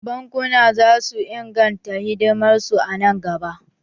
Bankuna zasu ingarta hidimar su a nan gaba